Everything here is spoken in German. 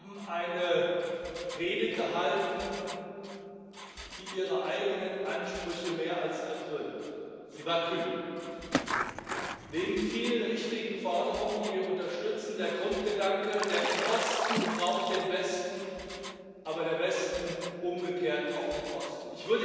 Sie haben eine Rede gehalten, die Ihre eigenen Ansprüche mehr als erfüllt. Sie war kühn. Neben vielen richtigen Forderungen, die wir unterstützen, war ein Grundgedanke Der Osten braucht den Westen, aber der Westen umgekehrt auch den Osten.